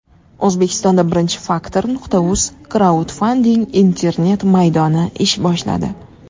O‘zbekistonda birinchi Factor.uz kraudfanding internet maydoni ish boshladi.